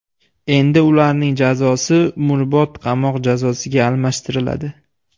Endi ularning jazosi umrbod qamoq jazosiga almashtiriladi.